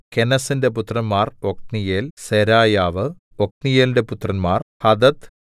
കെനസ്സിന്റെ പുത്രന്മാർ ഒത്നീയേൽ സെരായാവ് ഒത്നീയേലിന്റെ പുത്രന്മാർ ഹഥത്ത്